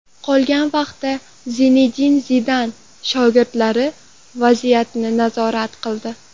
Qolgan vaqtda Zinedin Zidan shogirdlari vaziyatni nazorat qildi.